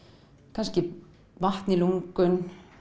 kannski vatn í lungun